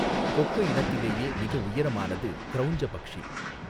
கொக்கு இனத்திலேயே மிக உயரமானது க்ரௌஞ்ச பக்ஷி.